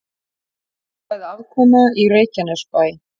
Jákvæð afkoma í Reykjanesbæ